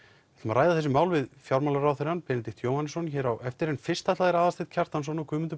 ræða þessi mál við fjármálaráðherra Benedikt Jóhannesson hér á eftir en fyrst ætla þeir Aðalsteinn Kjartansson og Guðmundur